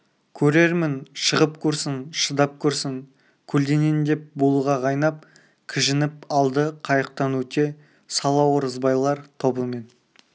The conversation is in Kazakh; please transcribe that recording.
көрермін шығып көрсін шыдап көрсін көлденең деп булыға қайнап кіжініп алды қайықтан өте сала оразбайлар тобымен